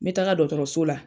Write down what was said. Me taaga dɔgɔtɔrɔso la.